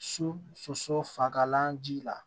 So soso fagalan ji la